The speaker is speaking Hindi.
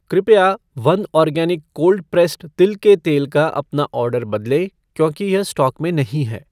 कृपया वन आर्गेनिक कोल्ड प्रेस्सड तिल के तेल का अपना ऑर्डर बदलें क्योंकि यह स्टॉक में नहीं है